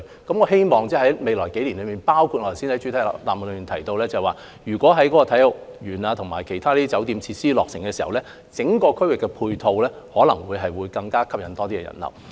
我希望未來幾年內，包括我剛才在主體答覆中提到，在啟德體育園和其他酒店設施落成後，整個區域的配套可能會吸引更多人流。